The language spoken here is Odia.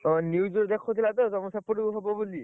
ହଁ news ରେ ଦେଖଉଥିଲା ତ ତମ ସେପଟକୁ ହବ ବୋଲି